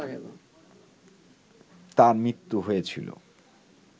তার মৃত্যু হয়েছিল